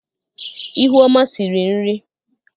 ihuọma siri nri